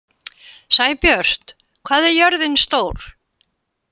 Sæbjört, hvað er jörðin stór?